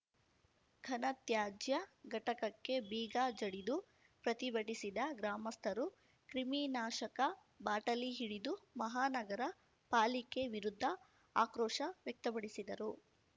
ಘನತ್ಯಾಜ್ಯ ಘಟಕಕ್ಕೆ ಬೀಗ ಜಡಿದು ಪ್ರತಿಭಟಿಸಿದ ಗ್ರಾಮಸ್ಥರು ಕ್ರಿಮಿನಾಶಕ ಬಾಟಲಿ ಹಿಡಿದು ಮಹಾನಗರ ಪಾಲಿಕೆ ವಿರುದ್ಧ ಆಕ್ರೋಶ ವ್ಯಕ್ತಪಡಿಸಿದರು